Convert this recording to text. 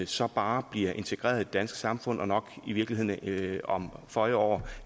så bare bliver integreret i det danske samfund og nok i virkeligheden om føje år